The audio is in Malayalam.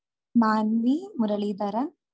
മാൻവി മുരളീധരൻ